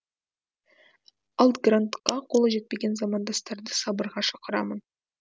ал грантқа қолы жетпеген замандастарды сабырға шақырамын